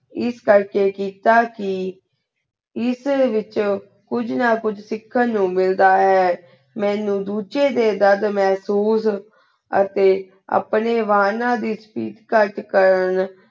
ਇਸ ਕਰ ਕੇ ਕਿੱਤਾ ਕੀ ਇਸ ਵਿਚ ਕੁਜ ਨਾ ਕੁਜ ਸਿਖਾਂ ਨੂ ਮਿਲਦਾ ਹੈ ਮਨੁ ਦੂਜੇ ਦੇ ਦਰਦ ਮੇਹ੍ਸੂਸ ਅਤੀ ਅਪਨੇ ਵੰਨਾ ਦੀ speech ਕਰ ਕੇ ਕਰਨ